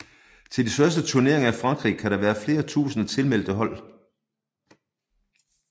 Til de største turneringer i Frankrig kan der være flere tusinde tilmeldte hold